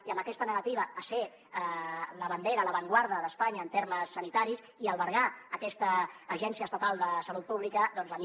i amb aquesta negativa a ser la bandera l’avantguarda d’espanya en termes sanitaris i albergar aquesta agència estatal de salut pública doncs a mi